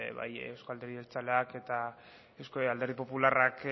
bai euzko alderdi jeltzaleak eta alderdi popularrak